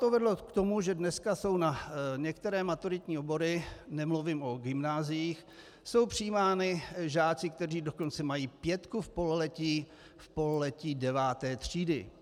To vedlo k tomu, že dneska jsou na některé maturitní obory, nemluvím o gymnáziích, jsou přijímáni žáci, kteří dokonce mají pětku v pololetí deváté třídy.